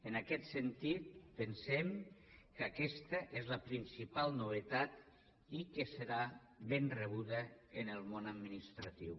en aquest sentit pensem que aquesta és la principal novetat i que serà ben rebuda en el món administratiu